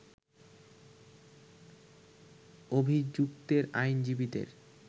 অভিযুক্তের আইনজীবীদের